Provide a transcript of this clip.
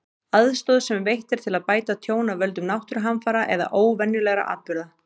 Aðstoð sem veitt er til að bæta tjón af völdum náttúruhamfara eða óvenjulegra atburða.